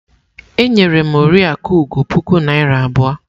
E nyere m Oriakụ Ugo puku naira abụọ.